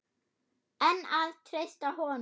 En að treysta honum?